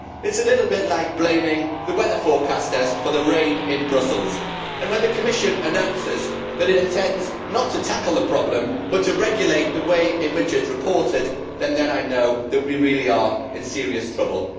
It is a little bit like blaming the weather forecasters for the rain in Brussels and when the Commission announces that it intends not to tackle the problem but rather to regulate the way in which it is reported, then I know we really are in serious trouble!